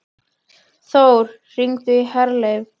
Þór, hringdu í Herleif.